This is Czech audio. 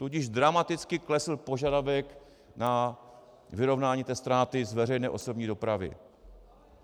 Tudíž dramaticky klesl požadavek na vyrovnání té ztráty z veřejné osobní dopravy.